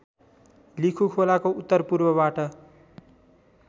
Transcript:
लिखु खोलाको उत्तरपूर्वबाट